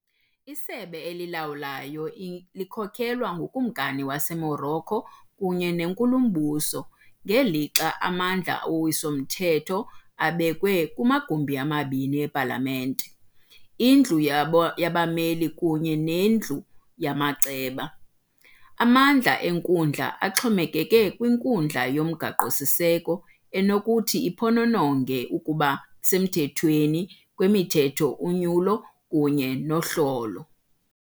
Isebe elilawulayo likhokelwa nguKumkani waseMorocco kunye nenkulumbuso, ngelixa amandla owiso-mthetho abekwe kumagumbi amabini epalamente- iNdlu yabo yabaMeli kunye neNdlu yamaCeba. Amandla enkundla axhomekeke kwiNkundla yoMgaqo-siseko, enokuthi iphonononge ukuba semthethweni kwemithetho, unyulo kunye nohlolo.